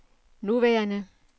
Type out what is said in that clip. nuværende